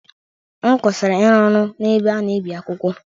M kwụsịrị ịrụ ọrụ n’ebe a na-ebi akwụkwọ.